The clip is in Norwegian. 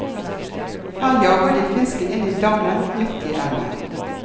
Her jager de fisken inn i dammen midt i elven.